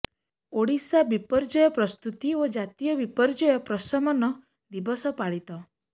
ଓଡିଶା ବିପର୍ଯ୍ୟୟ ପ୍ରସ୍ତୁତି ଓ ଜାତୀୟ ବିପର୍ଯ୍ୟୟ ପ୍ରଶମନ ଦିବସ ପାଳିତ